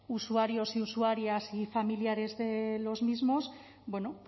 usuarios y usuarias y familiares de los mismos bueno